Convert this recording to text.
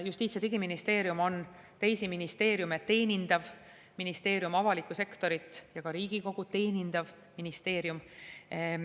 Justiits‑ ja Digiministeerium on teisi ministeeriume teenindav ministeerium, avalikku sektorit ja ka Riigikogu teenindav ministeerium.